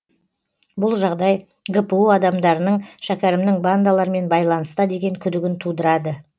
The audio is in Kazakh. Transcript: бұл жағдай гпу адамдарының шәкерімнің бандалармен байланыста деген күдігін тудырады